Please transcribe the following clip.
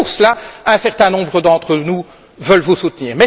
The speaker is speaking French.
Et donc pour cela un certain nombre d'entre nous veulent vous soutenir.